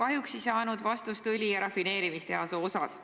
Ma kahjuks ei saanud vastust õlitehase ja rafineerimistehase kohta.